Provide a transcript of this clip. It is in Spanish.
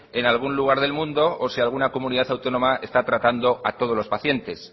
en algún lugar del mundo o si alguna comunidad autónoma está tratando a todos los pacientes